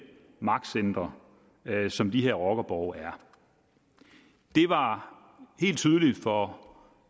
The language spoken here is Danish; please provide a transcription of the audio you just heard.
magtcentre som de her rockerborge er det var helt tydeligt for